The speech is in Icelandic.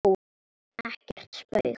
Ekkert spaug